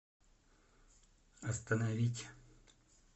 остановить